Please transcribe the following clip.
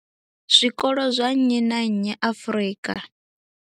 Zwikolo zwa nnyi na nnyi Afrika.